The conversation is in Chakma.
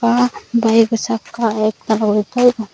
ah bayego sakka ektal guri toyo.